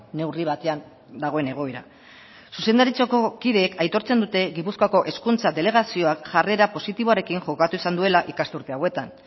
neurri batean dagoen egoera zuzendaritzako kideek aitortzen dute gipuzkoako hezkuntza delegazioak jarrera positiboarekin jokatu izan duela ikasturte hauetan